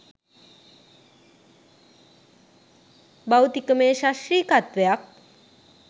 භෞතිකමය සශ්‍රීකත්වයක්